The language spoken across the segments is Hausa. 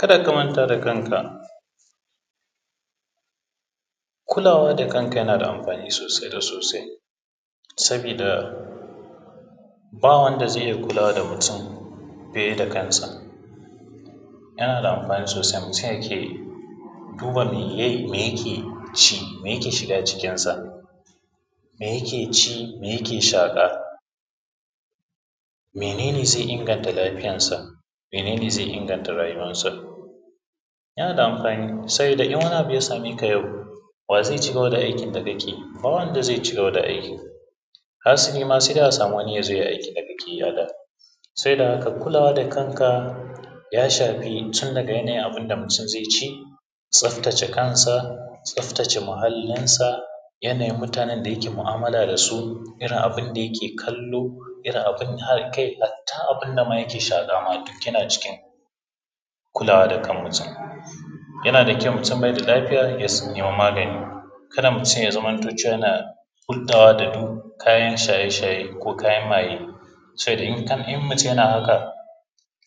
kada ka manta da kanka kulawa da kanka yana da amfani sosai da sosai sabida ba wanda zai kula da mutum fiye da kansa yana da amfani sosai mutum yake duba mai ya ke yi mai ya ke ci mai ya ke shiga cikinsa mai ya ke ci mai ya ke shaƙa mene ne zai inganta lafiyar sa mene ne zai inganta rayuwansa yana da amfani saboda in wani abu ya same ka yau wa zai cigaba da aikin da ka ke yi ba wanda zai cigaba da aikin hasali ma sai dai a samu wani ya zo yai aikin da ka ke yi a da saboda haka kulawa da kanka ya shafi tun daga yanayin abunda mutun zai ci tsaftace kansa tsaftace muhallinsa yanayin da mutanen da yake mu’amala da su irin abunda yake kallo kai hatta abunda ma yake shaƙa ma duk yana cikin kulawa da kan mutum yana da kyau mutum bai da lafiya ya siya magani ka da mutum ya zamanto cewa yana kuntawa da duk kayan shaye shaye ko kayan maye sai dai in mutum na haka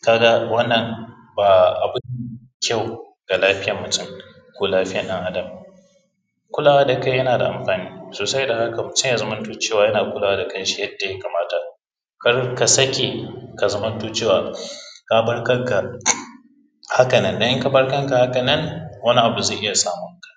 ka ga wannan ba abu ba ne mai kyau ga lafiyan mutum ko lafiyan ɗan adam kulawa da kai yana da amfani sosai da hakan mutum ya zamanto cewa yana kulawa da kan shi yadda ya kamata kar ka sake ka zamanto cewa ka bar kanka haka nan don in ka bar kanka haka nan wani abu zai iya samun ka